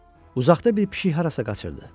Uzaqda bir pişik harasa qaçırdı.